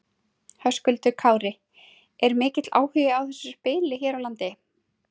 Höskuldur Kári: Er mikill áhugi á þessu spili hér á landi?